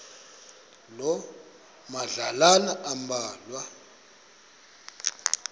loo madlalana ambalwa